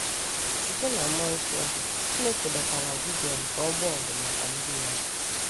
Site n’mmụọ nsọ, Chineke dọtara Gidion ka ọ gbaa ọgụ maka ndị Ya.